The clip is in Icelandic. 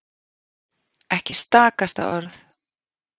Ekki stakasta orð.